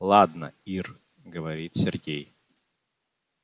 ладно ир говорит сергей